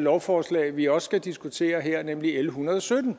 lovforslag vi også her skal diskutere nemlig l en hundrede og sytten